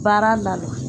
Baara na